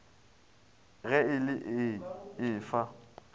ge e le ee efa